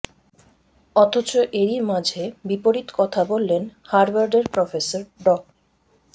অথচ এরই মাঝে বিপরীত কথা বললেন হার্ভার্ডের প্রফেসর ড